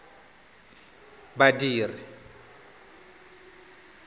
badiri